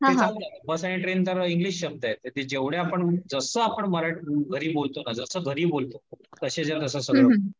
तर बस आणि ट्रेन तर इंग्लिश शब्द आहे तर जेवढे आपण जसं आपण घरी बोलतो ना, जस घरी बोलतो, तसेच्यातस सगळं